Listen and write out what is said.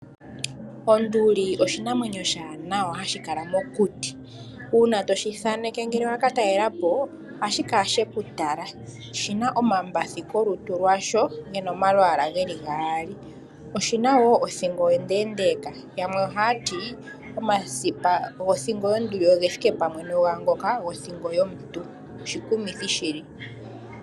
Onduli oshinamwenyo oshiwanawa hashi kala mokuti, uuna toshi thaneke ngele waka talelapo ohashi kala sheku tala oshina omambathi kolutu lwasho gena omalwaala geli gaali oshina othingo onde ndeka yamwe ohaya ti omasipa gothingo ogethike pamwe no gangoka gothingo yomuntu oshikumithi shili.